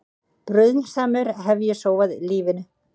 Bruðlsamur hef ég sóað lífinu.